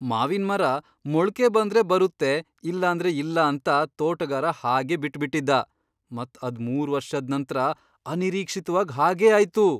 ಮಾವಿನ್ ಮರ ಮೊಳ್ಕೆ ಬಂದ್ರೆ ಬರುತ್ತೆ ಇಲ್ಲಾಂದ್ರೆ ಇಲ್ಲ ಅಂತ ತೋಟಗಾರ ಹಾಗೆ ಬಿಟ್ ಬಿಟ್ಟಿದ್ದ, ಮತ್ ಅದ್ ಮೂರು ವರ್ಷದ್ ನಂತ್ರ ಅನಿರೀಕ್ಷಿತವಾಗ್ ಹಾಗೆ ಆಯ್ತು.